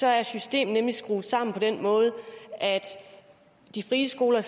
er systemet skruet sammen på den måde at de frie skoler